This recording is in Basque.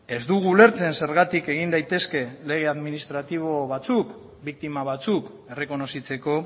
ez dugu ulertzen zergatik egin daitezke lege administratibo batzuk biktima batzuk errekonozitzeko